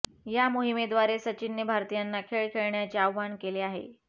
या मोहिमेद्वारे सचिनने भारतीयांना खेळ खेळण्याचे आवाहन केले आहे